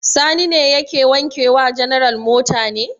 Sani ne yake wanke wa general mota ne?